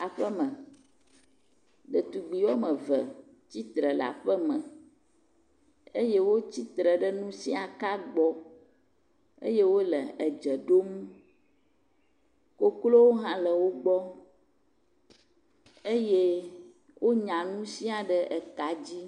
Aƒeme. Ɖetugbi wɔme ve tsitre le aƒeme eye wo tsitre ɖe nusiaka gbɔ eye wole edze ɖom. Koklowo hã le wogbɔ eye wonya nu sia ɖe eka dzi.